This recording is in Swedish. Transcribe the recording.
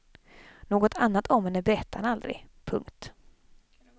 Något annat om henne berättade han aldrig. punkt